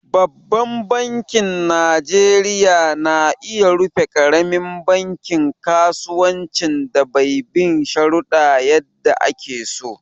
Babban banki najeriya na iya rufe ƙaramin bankin kasuwancin da bai bin shuruɗa yadda ake so.